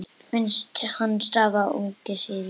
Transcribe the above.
Finnst hann hafa unnið sigur.